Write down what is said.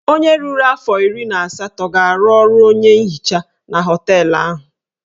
Onye ruru afọ iri na asatọ ga-arụ ọrụ onye nhicha na họteelụ ahụ.